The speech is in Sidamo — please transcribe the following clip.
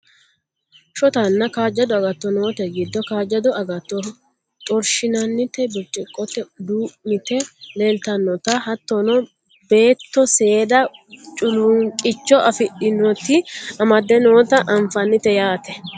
shotanna kaajjado agatto noote giddo kaajjado agatto xorshinannita birciqqote duu'mite leeltannota hattono beetto seeda culuunqicho afidhinoti amaddde noota anfannite yaate